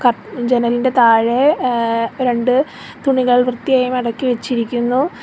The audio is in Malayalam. ജനലിന്റെ താഴെ ഏ രണ്ട് തുണികൾ വൃത്തിയായി മടക്കി വച്ചിരിക്കുന്നു.